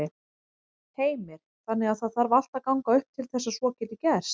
Heimir: Þannig að það þarf allt að ganga upp til þess að svo geti gerst?